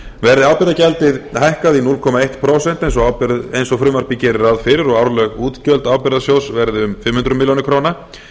verði atvinnugjaldið hækkað í núll komma eitt prósent eins og frumvarpið gerir ráð fyrir og árleg útgjöld ábyrgðasjóð verði um fimm hundruð milljóna króna